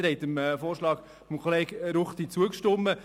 Sie haben dem Vorschlag des Kollegen Ruchti zugestimmt.